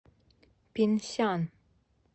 пинсян